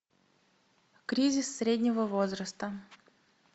кризис среднего возраста